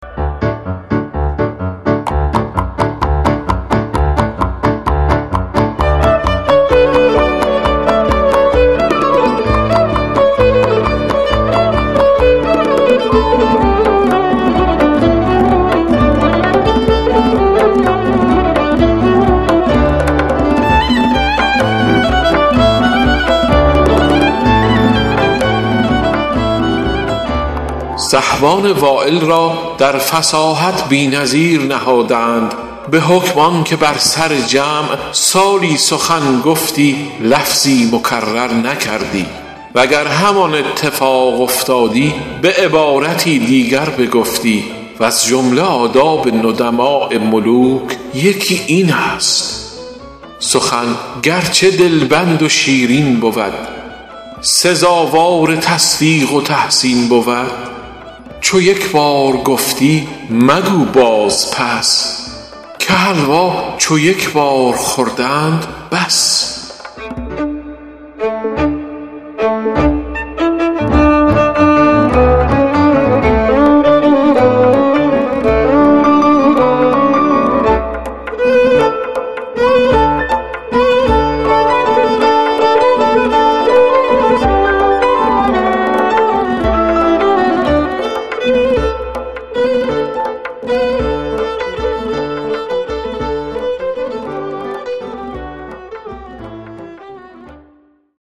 سحبان وایل را در فصاحت بی نظیر نهاده اند به حکم آن که بر سر جمع سالی سخن گفتی لفظی مکرر نکردی وگر همان اتفاق افتادی به عبارتی دیگر بگفتی وز جمله آداب ندماء ملوک یکی این است سخن گرچه دلبند و شیرین بود سزاوار تصدیق و تحسین بود چو یک بار گفتی مگو باز پس که حلوا چو یک بار خوردند بس